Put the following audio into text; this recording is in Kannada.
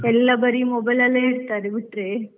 ಎಲ್ಲಾ ಬರೀ mobile ಅಲ್ಲೇ ಇರ್ತಾರೆ ಬಿಟ್ರೆ.